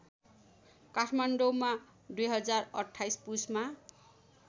काठमाडौँमा २०२८ पुसमा